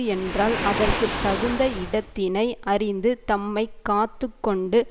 என்றால் அதற்கு தகுந்த இடத்தினை அறிந்து தம்மை காத்து கொண்டு